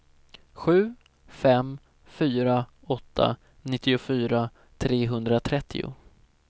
sju fem fyra åtta nittiofyra trehundratrettio